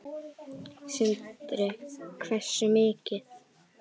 Sindri: Hversu mikið?